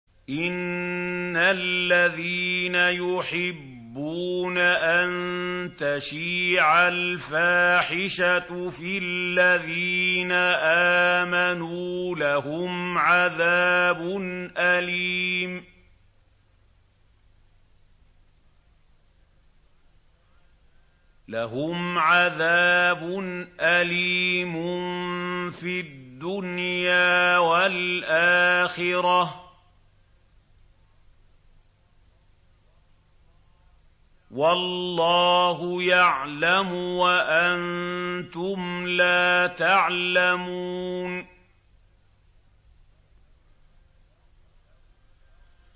إِنَّ الَّذِينَ يُحِبُّونَ أَن تَشِيعَ الْفَاحِشَةُ فِي الَّذِينَ آمَنُوا لَهُمْ عَذَابٌ أَلِيمٌ فِي الدُّنْيَا وَالْآخِرَةِ ۚ وَاللَّهُ يَعْلَمُ وَأَنتُمْ لَا تَعْلَمُونَ